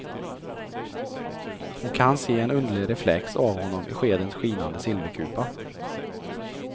Hon kan se en underlig reflex av honom i skedens skinande silverkupa.